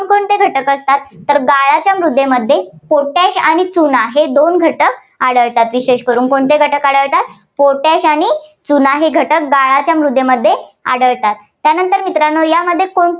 जे घटक असतात. तर गाळाच्या मृदेमध्ये potash आणि चुना हे दोन घटक आढळतात. विशेष करून कोणते घटक आढळतात potash आणि चुना हे घटक गाळाच्या मृदेमध्ये आढळतात. त्यानंतर मित्रांनो यामध्ये को~